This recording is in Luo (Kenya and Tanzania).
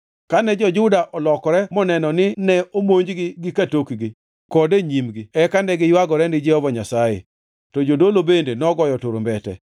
Kane jo-Juda olokore moneno nine imonjogi gi ka tokgi kod e nyimgi eka negiywagore ni Jehova Nyasaye. To jodolo bende nogoyo turumbete